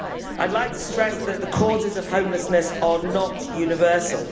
I'd like to stress that the causes of homelessness are not universal.